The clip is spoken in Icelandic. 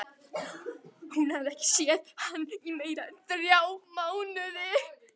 Hún hafði ekki séð hann í meira en þrjá mánuði.